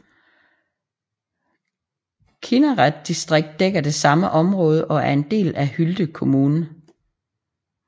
Kinnared distrikt dækker det samme område og er en del af Hylte kommun